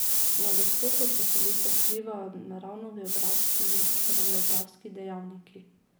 Na gostoto poselitve vplivajo naravnogeografski in družbenogeografski dejavniki.